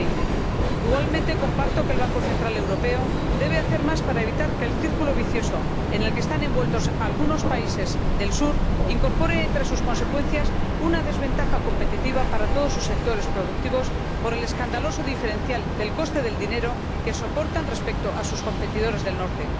2020. Igualmente comparto que el Banco Central Europeo debe hacer más para evitar que el círculo vicioso en el que están envueltos algunos países del Sur incorpore, entre sus consecuencias, una desventaja competitiva para todos sus sectores productivos por el escandaloso diferencial del coste del dinero que soportan respecto a sus competidores del Norte.